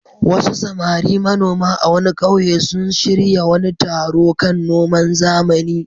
Wasu samari manoma a wani ƙauye sun shirya wani taro kan noman zamani.